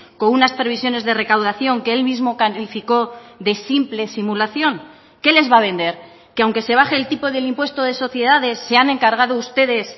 con unas previsiones de recaudación que él mismo calificó de simple simulación qué les va a vender que aunque se baje el tipo del impuesto de sociedades se han encargado ustedes